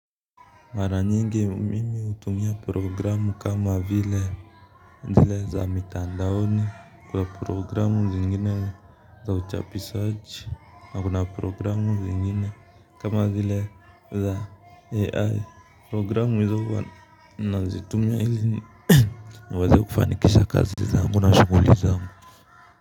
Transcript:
Mara nyingi mimi hutumia programu kama vile zile za mitandaoni kwa programu zingine za uchapishaji na kuna programu zingine kama zile za ai programu hizo wanazitumia ili waweze kufanikisha kazi zao na shughuli zao.